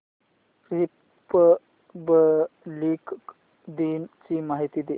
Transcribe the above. Republic दिन ची माहिती दे